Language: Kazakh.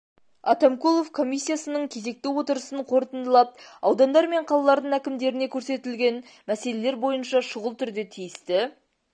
атамкулов комиссиясының кезекті отырысын қорытындылап аудандар мен қалалардың әкімдеріне көрсетілген мәселелер бойынша шұғыл түрде тиісті